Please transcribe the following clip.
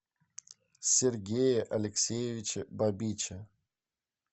сергее алексеевиче бабиче